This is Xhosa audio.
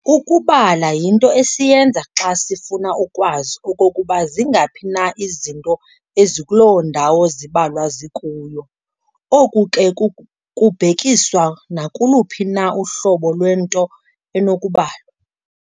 Ukubala yinto esiyenza xa sifuna ukwazi okokuba zingaphi na izinto ezikuloo ndawo zibalwa zikuyo, oku ke kubhekiswa nakuluphi na uhlobo lwento enokubalwa.